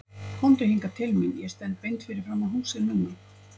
Komdu hingað til mín, ég stend beint fyrir framan húsið núna.